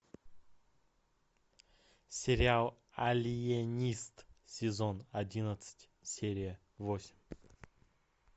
сериал алиенист сезон одиннадцать серия восемь